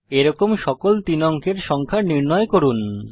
এরকম সকল 3 অঙ্কের সংখ্যা নির্ণয় করুন